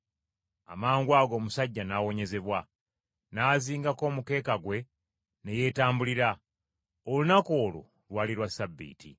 Amangwago omusajja n’awonyezebwa. N’azingako omukeeka gwe ne yeetambulira. Olunaku olwo lwali lwa Ssabbiiti.